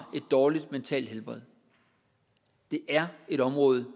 et dårligt mentalt helbred det er et område